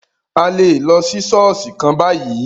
A lè lọ sí ṣọ̀ọ́sì kan bayìí.